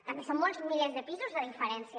també són molts milers de pisos de diferència